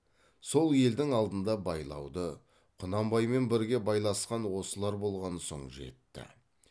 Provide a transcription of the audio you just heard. сол елдің алдында байлауды құнанбаймен бірге байласқан осылар болған соң жетті